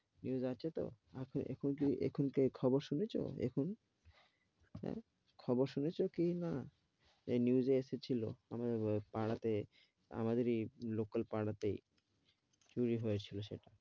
News আছে তো, এখন এখন খবর শুনেছ এখন, হ্যাঁ খবর শুনেছ কি না? এই news এ এসেছিলো এ আমাদের পাড়াতে, আমাদের এই লোকাল পাড়াতেই চুরি হয়েছিল সেটা।